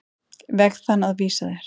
veg þann að vísa þér.